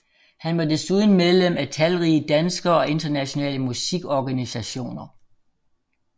Han var desuden medlem af talrige danske og internationale musikorganisationer